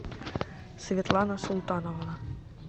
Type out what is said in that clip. светлана султановна